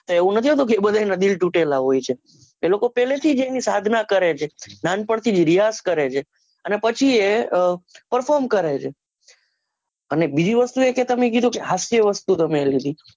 એવું નથી હોતું કે બધાયના ના દિલ તુટેલા હોય છે એ લોકો પહેલેથી જ એવું સાધના કરે છે નાનપણથી જ રીયાઝ કરે છે અને પછી એ અ perform કરે છે એને બીજું વસ્તુ એ તો તમે કીધુ કે હાસ્ય વસ્તુ તમે